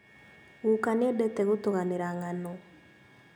Guka nĩendete gũtũganĩra ng'ano